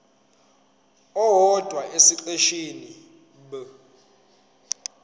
owodwa esiqeshini b